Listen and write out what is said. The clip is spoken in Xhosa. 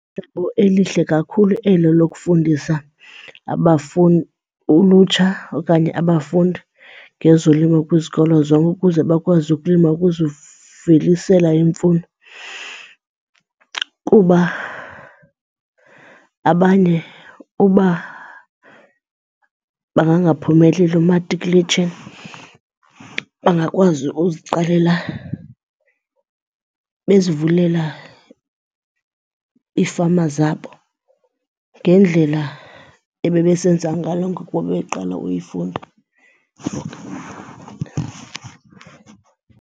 elihle kakhulu elo lokufundisa ulutsha okanye abafundi ngezolimo kwizikolo zonke ukuze bakwazi ukulima ukuzivelisela imfuyo. Kuba abanye uba bangangaphumeleli umatikuletsheni bangakwazi ukuziqalela bezivulela iifama zabo ngendlela ebebesenza ngalo ngoku bebeqala uyifunda .